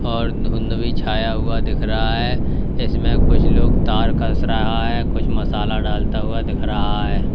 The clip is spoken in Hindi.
और धुंध भी छाया हुआ दिख रहा है इसमें कुछ लोग तार कस रहा है कुछ मसाला डालता हुआ दिख रहा है।